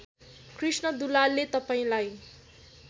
कृष्ण दुलालले तपाईँलाई